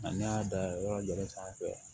n'a y'a da yɔrɔ sanfɛ